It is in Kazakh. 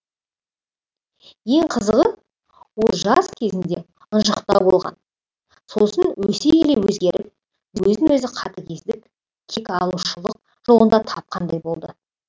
ең қызығы ол жас езінде ынжықтау болған сосын өсе келе өзгеріп өзін өзі қатыгездік кек алушылық жолында тапқандай болды